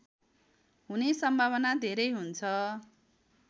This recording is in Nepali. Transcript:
हुने सम्भावना धेरै हुन्छ